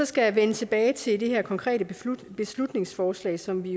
skal vende tilbage til det her konkrete beslutningsforslag som vi